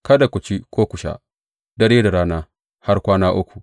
Kada ku ci ko ku sha, dare da rana har kwana uku.